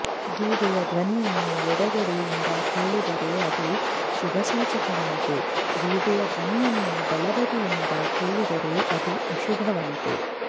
ಗೂಬೆಯ ದ್ವನಿಯನ್ನು ಎಡಗಡೆಯಿಂದ ಕೇಳಿದರೆ ಅದು ಶುಭಸೂಚಕವಂತೆ ಗೂಬೆಯ ಧ್ವನಿಯನ್ನು ಬಲಬದಿಯಿಂದ ಕೇಳಿದರೆ ಅದು ಅಶುಭವಂತೆ